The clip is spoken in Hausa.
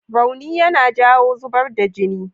Rauni yana jawo zubar da jini.